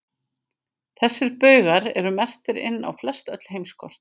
Þessir baugar eru merktir inn á flestöll heimskort.